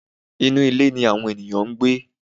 Inú ilé ni àwọn ènìyàn ń gbé.